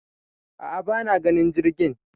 a'a bana ganin jirgin